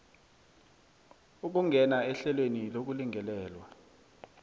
ukungena ehlelweni lokulingelelwa